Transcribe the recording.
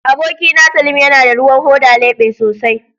Abokina, salim yana da ruwan hoda lebe sosai